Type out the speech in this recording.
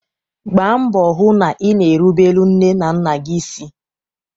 Gbaa mbọ hụ na ina erubelu nne na nna gị isi!